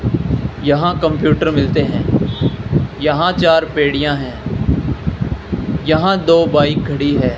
यहां कंप्यूटर मिलते हैं यहां चार पेड़ियां हैं यहां दो बाइक खड़ी है।